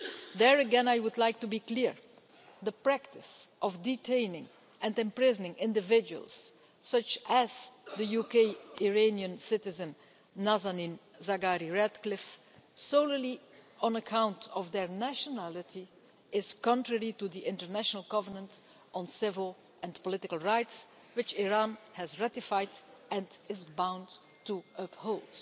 There again I would like to be clear the practice of detaining and imprisoning individuals, such as the UK Iranian citizen Nazanin Zaghari Ratcliffe, solely on account of their nationality is contrary to the International Covenant on Civil and Political Rights, which Iran has ratified and is bound to uphold.